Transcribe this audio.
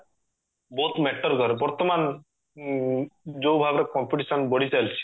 ବହୁତ matter କରେ ବର୍ତମାନ ଉଁ ଯାଉଭାବେ competition ବଢିଚାଲିଛି